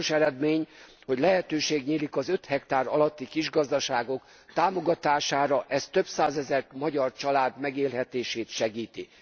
Fontos eredmény, hogy lehetőség nyílik az öt hektár alatti kisgazdaságok támogatására, ez több százezer magyar család megélhetését segíti.